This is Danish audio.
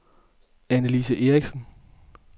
Anne-Lise Eriksen